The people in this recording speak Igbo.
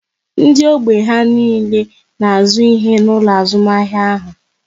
Ndị ógbè ha niile na azụ ihe n'ụlọ azụmahịa ahụ